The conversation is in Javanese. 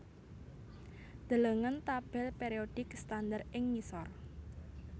Delengen tabèl périodik standar ing ngisor